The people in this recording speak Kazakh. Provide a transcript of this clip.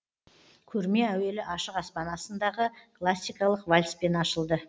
көрме әуелі ашық аспан астындағы классикалық вальспен ашылды